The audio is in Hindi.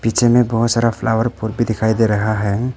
पीछे में बहोत सारा फ्लॉवर भी दिखाई दे रहा हैं।